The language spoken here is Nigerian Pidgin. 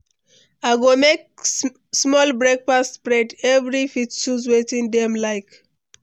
I go make small breakfast spread; everyone fit choose wetin dem like.